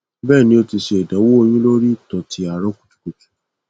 bẹẹni o ti ṣe idanwo oyun lori ito ti aro kutukutu